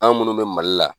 An minnu bɛ mali la